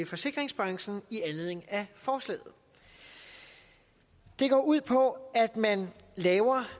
forsikringsbranchen i anledning af forslaget de går ud på at man laver